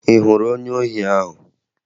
Ị hụrụ onye ohi ahụ?